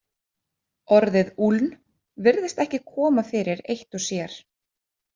Orðið úln virðist ekki koma fyrir eitt sér.